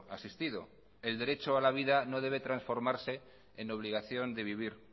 asistido el derecho a la vida no debe transformarse en obligación de vivir